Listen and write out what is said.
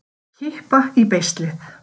Að kippa í beislið